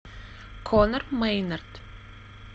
конор мэйнард